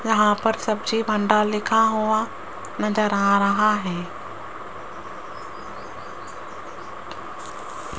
यहां पर सब्जी भंडार लिखा हुआ नजर आ रहा हैं।